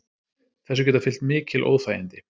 Þessu geta fylgt mikil óþægindi